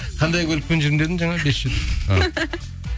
қандай көлікпен жүрмін дедің жаңа бес жүз жетпіс а